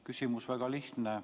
Küsimus on väga lihtne.